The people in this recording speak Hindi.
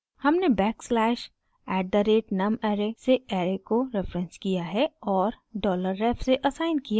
हमने backslash @numarray से ऐरे को रेफरेंस किया है और $ref से असाइन किया है